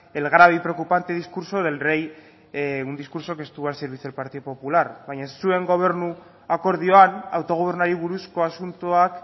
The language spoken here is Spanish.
el grave y preocupante discurso del rey un discurso que estuvo al servicio del partido popular baina zuen gobernu akordioan autogobernuari buruzko asuntoak